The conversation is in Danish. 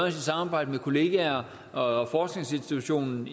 i samarbejde med kolleger og forskningsinstitutionen